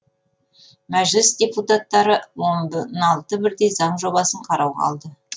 мәжіліс депутаттары он алты бірдей заң жобасын қарауға алды